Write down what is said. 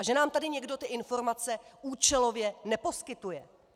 A že nám tady někdo ty informace účelově neposkytuje.